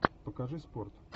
покажи спорт